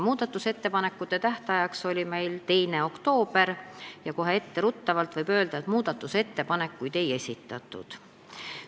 Muudatusettepanekute tähtajaks oli meil määratud 2. oktoober ja kohe etteruttavalt võib öelda, et ettepanekuid ei esitatud.